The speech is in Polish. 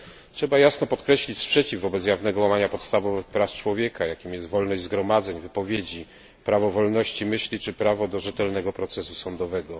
Trzeba jasno podkreślić sprzeciw wobec jawnego łamania podstawowych praw człowieka, jakimi są wolność zgromadzeń, wypowiedzi, prawo wolności myśli czy prawo do rzetelnego procesu sądowego.